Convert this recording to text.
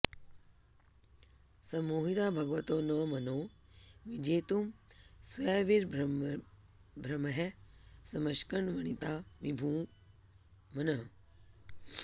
सम्मोहिता भगवतो न मनो विजेतुं स्वैर्विभ्रमैः समशकन् वनिता विभूम्नः